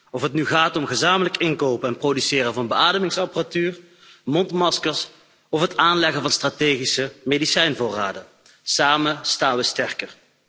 Of het nu gaat om het gezamenlijk inkopen en produceren van beademingsapparatuur en mondmaskers of het aanleggen van strategische medicijnvoorraden, samen staan we sterker.